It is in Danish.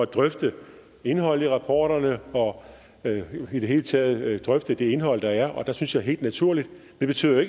drøfte indholdet i rapporterne og i det hele taget drøfte det indhold der er det synes jeg er helt naturligt det betyder